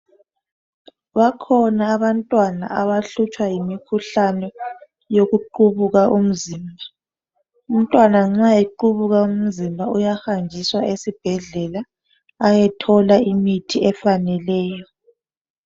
Bakhona abantwana abahlutshwa yokuqubuka umzimba. Umntwana nxa equbuka umzimba uyahanjiswa esibhedlela. Ayethola imithi efaneleyo.